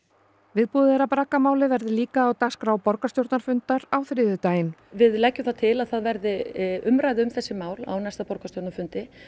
viðbúið er að braggamálið verði líka á dagskrá borgarstjórnarfundar á þriðjudaginn við leggjum það til að það verði umræða um þessi mál á næsta borgarstjórnarfundi